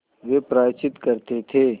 वे प्रायश्चित करते थे